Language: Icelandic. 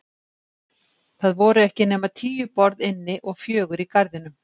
Það voru ekki nema tíu borð inni og fjögur í garðinum.